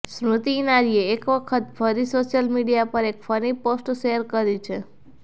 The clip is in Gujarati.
સ્મૃતિ ઈરાનીએ એક વખત ફરીથી સોશિયલ મીડિયા પર એક ફની પોસ્ટ શેર કરી છે